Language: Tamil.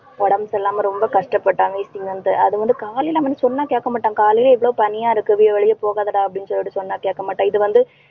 உடம்பு சரி இல்லாம ரொம்ப கஷ்டப்பட்டான் wheezing ல இருந்து. அது வந்து காலையில அவன் மட்டும் சொன்னா கேட்க மாட்டான். காலையிலயே இவ்வளவு பனியா இருக்கு வெளிய போகாதடா அப்படின்னு சொல்லிட்டு சொன்னா கேட்கமாட்டான். இது வந்து